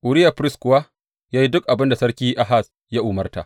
Uriya firist kuwa ya yi duk abin da Sarki Ahaz ya umarta.